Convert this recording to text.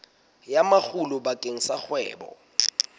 ya makgulo bakeng sa kgwebo